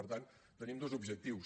per tant tenim dos objectius